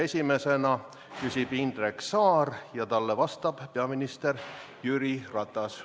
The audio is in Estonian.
Esimesena küsib Indrek Saar ja talle vastab peaminister Jüri Ratas.